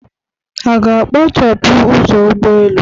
A ga-akpachapụ ụzọ ụgbọelu?